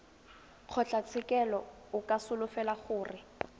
kgotlatshekelo o ka solofela gore